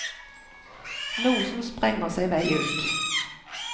Noe som sprenger seg vei ut.